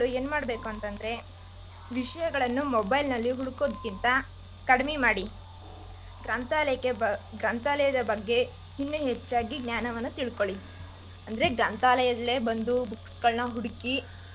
ಏನ್ ಮಾಡ್ಬೇಕು ಅಂದ್ರೆ ವಿಷ್ಯಗಳನ್ನು mobile ನಲ್ಲಿ ಹೊಡ್ಕೋಕಿಂತ ಕಡ್ಮಿ ಮಾಡಿ ಗ್ರಂಥಾಲಯಕ್ಕೆ ಬಂದ್ ಗ್ರಂಥಾಲಯದ್ ಬಗ್ಗೆ ಇನ್ನು ಹೆಚ್ಚಾಗ್ ಜ್ಞಾನನ ತಿಳ್ಕೊಳ್ಳಿ ಅಂದ್ರೆ ಗ್ರಂಥಾಲಯ್ದಲ್ಲೇ ಬಂದು.